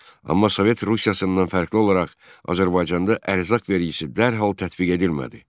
Amma Sovet Rusiyasından fərqli olaraq Azərbaycanda ərzaq vergisi dərhal tətbiq edilmədi.